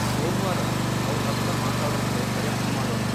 ಸೋಮ್ವಾರ ಅವ್ರ್ ಹತ್ರ ಮಾತಾಡೋಕೆ ಪ್ರಯತ್ನ ಮಾಡೋಣ.